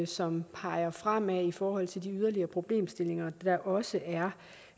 som peger fremad i forhold til de yderligere problemstillinger der også er